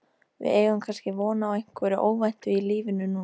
Við eigum kannski von á einhverju óvæntu í lífinu núna?